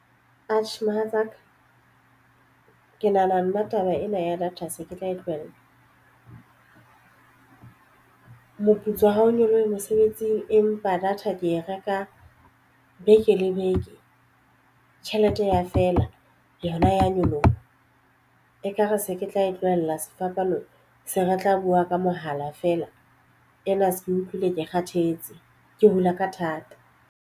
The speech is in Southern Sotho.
Atjhe, mohatsaka ke nahana nna taba ena ya data se ke tla e tlohella moputso ha o nyolohe mosebetsing empa data ke e reka beke le beke. Tjhelete ya feela yona ya nyoloha ekare se ke tla e tlohella sefapano se re tla buwa ka mohala feela ena se ke utlwile ke kgathetse ke hula ka thata.